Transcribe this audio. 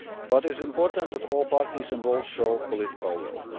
It is important that all parties involved show political